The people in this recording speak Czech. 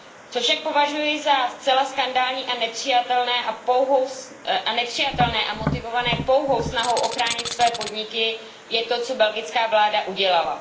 Co však považuji za zcela skandální a nepřijatelné a motivované pouhou snahou ochránit své podniky je to, co belgická vláda udělala.